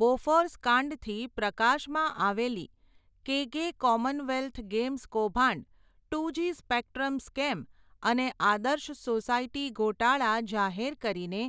બોફર્સકાંડથી પ્રકાશમાં આવેલી, કેગે કોમનવેલ્થ ગેમ્સ કૌભાંડ, ટુ જી સ્પેકટ્રમ સ્કેમ અને આદર્શ સોસાયટી ગોટાળા જાહેર કરીને,